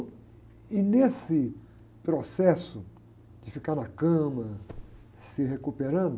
E nesse processo de ficar na cama, se recuperando,